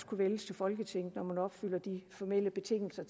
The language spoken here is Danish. kunne vælges til folketinget når opfylder de formelle betingelser